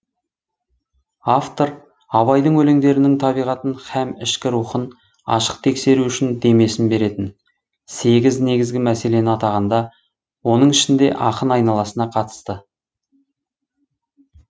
автор абайдың өлеңдерінің табиғатын һәм ішкі рухын ашық тексеру үшін демесін беретін сегіз негізгі мәселені атағанда оның ішінде ақын айналасына қатысты